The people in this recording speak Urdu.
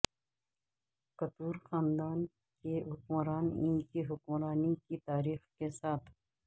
کتور خاندان کے حکمران ان کی حکمرانی کی تاریخ کے ساتھ